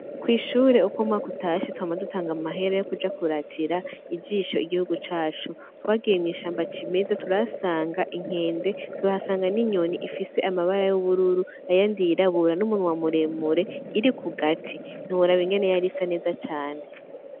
Kwishure uk'umwaka utashe twama dutang'amahera yokuja kuratira ijisho igihugu cacu; twagiye mw'ishamba c'imeza turahasanga inkende tuhasanga n'inyoni ifise amabara y'ubururu n'umunwa muremure iri kugati ntiworab'ingene yar'isa neza cane.